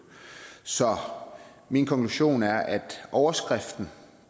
så min konklusion er at overskriften